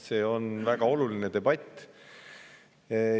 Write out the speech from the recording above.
See on väga oluline debatt.